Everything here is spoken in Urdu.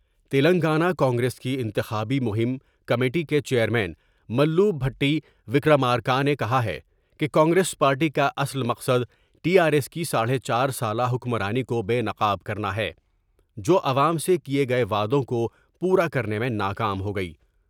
تلنگانہ کانگریسکی انتخابی مہم کمیٹی کے چیئر مین مل بھٹی وکرامارکا نے کہا ہے کہ کانگریس پارٹی کا اصل مقصد ٹی آرایس کی ساڑھے چار سالہ حکمرانی کو بے نقاب کرنا ہے جو عوام سے کئے گئے وعدوں کو پورا کر نے میں نا کام ہوگئی ۔